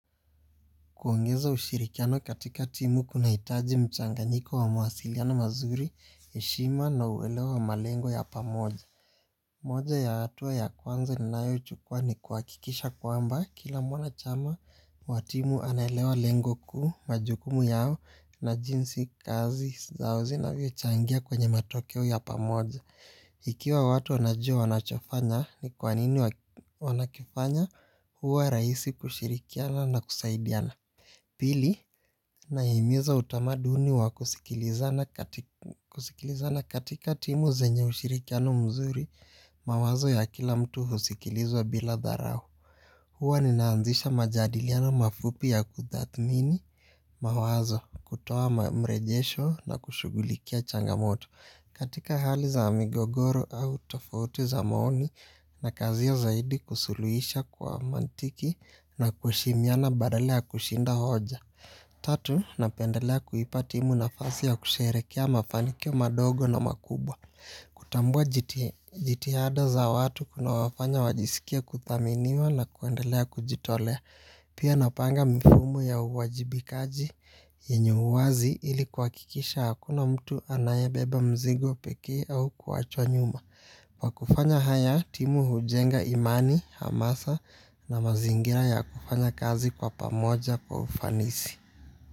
Kuongeza ushirikiano katika timu kunahitaji mchanganyiko wa mawasiliano mazuri, heshima na uelewa wa malengo ya pamoja. Moja ya hatua ya kwanza ninayochukua ni kuhakikisha kwamba kila mwanachama wa timu anaelewa lengo kuu, majukumu yao na jinsi kazi zao zinavyochangia kwenye matokeo ya pamoja. Ikiwa watu wanajua wanachofanya, ni kwanini wanakifanya, huwa rahisi kushirikiana na kusaidiana. Pili, nahimiza utamaduni wa kusikilizana katika timu zenye ushirikiano mzuri, mawazo ya kila mtu husikilizwa bila dharau. Huwa ninaanzisha majadiliano mafupi ya kutathmini mawazo, kutoa mrejesho na kushughulikia changamoto. Katika hali za migogoro au tofauti za maoni, nakaziwa zaidi kusuluhisha kwa mantiki na kuheshimiana badala ya kushinda hoja. Tatu, napendelea kuipa timu nafasi ya kusherehekea mafanikio madogo na makubwa. Kutambua jitihada za watu kunawafanya wajisikie kuthaminiwa na kuendelea kujitolea. Pia napanga mfumo ya uwajibikaji yenye uwazi ili kuhakikisha hakuna mtu anayebeba mzigo pekee au kuachwa nyuma. Kwa kufanya haya timu hujenga imani, hamasa na mazingira ya kufanya kazi kwa pamoja kwa ufanisi.